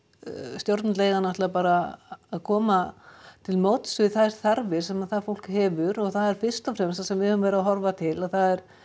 stjórnvöld eiga náttúrulega bara að koma til móts við þær þarfir sem það fólk hefur og það er fyrst og fremst það sem við höfum verið að horfa til það er